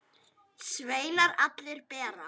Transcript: Sveinar allir bera.